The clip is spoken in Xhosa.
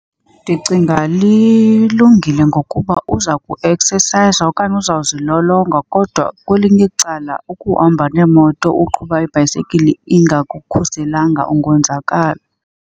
Ndicinga lilungile ngokuba uza kueksesayiza okanye uzawukuzilolonga kodwa kwelinye icala, ukuhamba neemoto uqhuba ibhayisekile ingakukhuselanga ungonzakala.